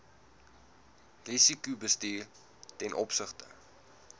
risikobestuur ten opsigte